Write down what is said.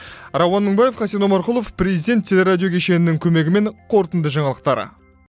рауан мыңбаев хасен омарқұлов президент теле радио кешенінің көмегімен қорытынды жаңалықтар